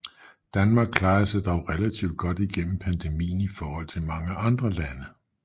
Danmark klarede sig dog relativt godt gennem pandemien i forhold til mange andre lande